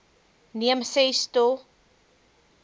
neem ses to